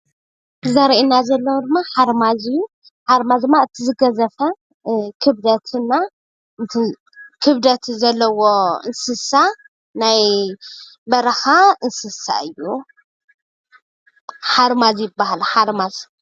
እዚ ዘርኤና ዘሎ ሓርማዝ እዩ፣ ሓርማዝ ድማ እቲ ዝገዘፈ ክብደት ዘለዎ እንስሳ ናይ በረኻ እንስሳ እዩ። ሓርማዝ ይባሃል ሓርማዝ፡፡